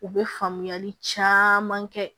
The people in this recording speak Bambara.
U bɛ faamuyali caman kɛ